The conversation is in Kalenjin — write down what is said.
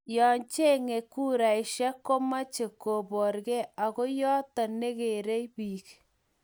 Yo chengee kuraishek komeche koborgei ago yoto negerei biik